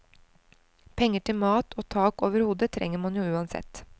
Penger til mat og tak over hodet trenger man jo uansett.